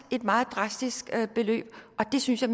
et meget drastisk beløb og jeg synes i